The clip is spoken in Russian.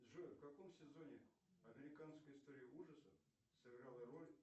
джой в каком сезоне американская история ужасов сыграла роль